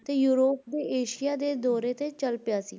ਤੇ ਯੂਰੋਪ ਤੇ ਏਸ਼ੀਆ ਦੇ ਦੌਰੇ ਤੇ ਚੱਲ ਪਿਆ ਸੀ l